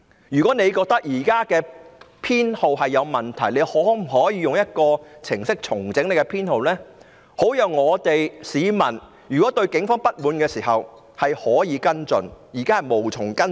如果警方覺得現在的編號有問題，可否用一個程式重整編號，好讓市民對警方不滿時可以跟進？